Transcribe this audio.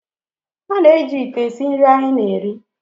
A na-eji ite esi nri anyị na-eri